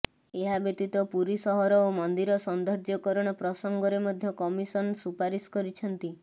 ଏହାବ୍ୟତୀତ ପୁରୀ ସହର ଓ ମନ୍ଦିର ସୌନ୍ଦର୍ଯ୍ୟକାରଣ ପ୍ରସଙ୍ଗରେ ମଧ୍ୟ କମିଶନ ସୁପାରିଶ କରିଛନ୍ତି